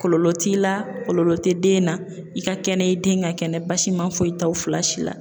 Kɔlɔlɔ t'i la, kɔlɔlɔ tɛ den na, i ka kɛnɛ i den ka kɛnɛ basi ma foyi t'aw fila si la.